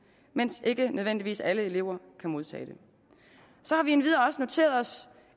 mens ikke nødvendigvis alle elever kan modtage det så har vi endvidere også noteret os